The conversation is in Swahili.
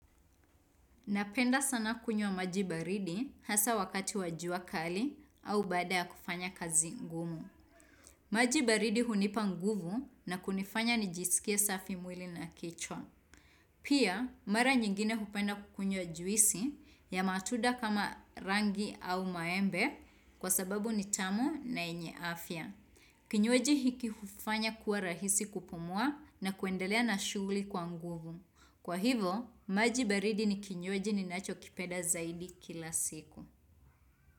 Napenda sana kunywa maji baridi hasa wakati wa jua kali au baada ya kufanya kazi ngumu. Maji baridi hunipa nguvu na kunifanya nijisikie safi mwili na kichwa. Pia, mara nyingine hupenda kukunywa juisi ya matuda kama rangi au maembe kwa sababu ni tamu na yenye afya. Kinywaji hiki hufanya kuwa rahisi kupumua na kuendelea na shughuli kwa nguvu. Kwa hivo, maji baridi ni kinywaji ninachokipenda zaidi kila siku.